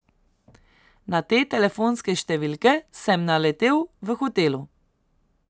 Na te telefonske številke sem naletel v hotelu.